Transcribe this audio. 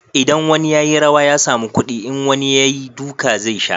idan wani ya yi rawa ya samu kudi, in wani ya yi, duka zai sha